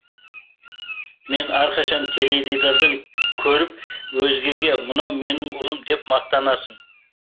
мені әрқашан теледидардан көріп өзгеге мынау менің ұлым деп мақтанасың